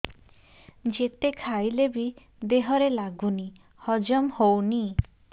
ଯେତେ ଖାଇଲେ ବି ଦେହରେ ଲାଗୁନି ହଜମ ହଉନି